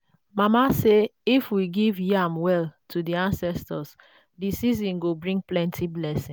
mama say if we give yam well to the ancestors the season go bring plenty blessing.